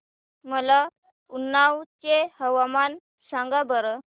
मला उन्नाव चे हवामान सांगा बरं